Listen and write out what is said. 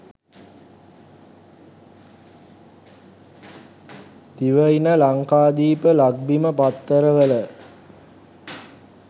Divaina Lankadeepa Lakbima පත්තරවල